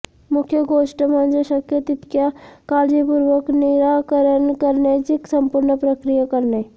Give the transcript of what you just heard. मुख्य गोष्ट म्हणजे शक्य तितक्या काळजीपूर्वक निराकरण करण्याची संपूर्ण प्रक्रिया करणे